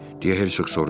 Deyə Herşoq soruşdu.